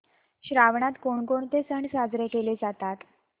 श्रावणात कोणकोणते सण साजरे केले जातात